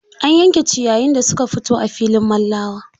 An yanke ciyayin da suka fito a filin Mallawa.